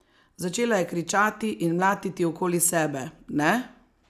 Začela je kričati in mlatiti okoli sebe, ne?